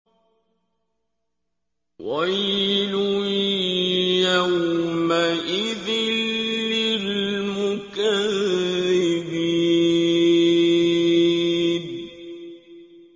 وَيْلٌ يَوْمَئِذٍ لِّلْمُكَذِّبِينَ